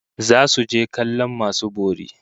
Zasu je kallon masu bori